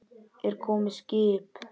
Er komið skip?